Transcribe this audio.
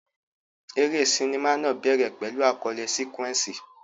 Eré sinimá náà bẹ̀rẹ̀ pẹ̀lú àkọlé sequence.